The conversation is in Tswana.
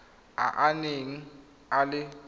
a a neng a le